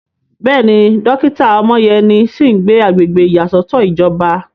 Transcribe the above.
Bẹ́ẹ̀ni, dókítà Omoyeni sì ń gbé agbègbè ìyàsọ́tọ̀ ìjọba.